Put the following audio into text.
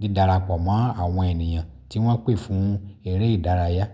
dídarapọ̀ mọ́ àwọn ènìyàn tí wọ́n pè fún eré ìdárayá.